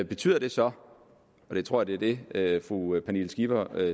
betyder det så og jeg tror det det er det fru pernille skipper